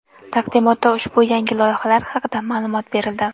Taqdimotda ushbu yangi loyihalar haqida ma’lumot berildi.